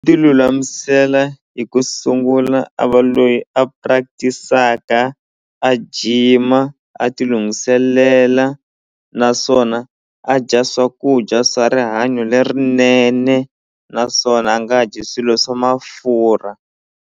Ti lulamisela hi ku sungula a va loyi a practic-aka a gym-a a ti lunghiselela naswona a dya swakudya swa rihanyo lerinene naswona a nga dyi swilo swa mafurha.